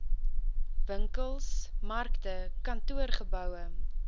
winkels markte kantoorgeboue